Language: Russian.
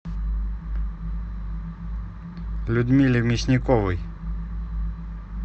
людмиле мясниковой